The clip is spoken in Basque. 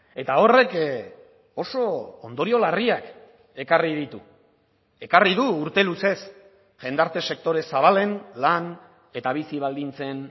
eta horrek oso ondorio larriak ekarri ditu ekarri du urte luzez jendarte sektore zabalen lan eta bizi baldintzen